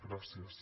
gràcies